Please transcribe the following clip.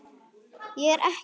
Ég er ekkert að bulla.